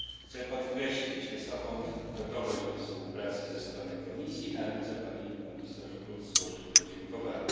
Chcę podkreślić wysoką gotowość do współpracy ze strony Komisji i na ręce pani komisarz Bulc złożyć podziękowania.